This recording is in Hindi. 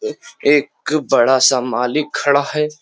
एक बड़ा सा मालिक खड़ा है।